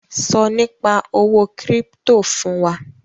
Sọ Nípa owó kírípítò fún wa!